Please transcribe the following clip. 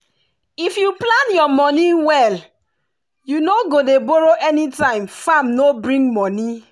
if you plan your money well you no go dey borrow anytime farm no bring money.